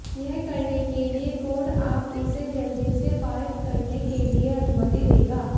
यह करने के लिए कोड आप इसे जल्दी से पारित करने के लिए अनुमति देगा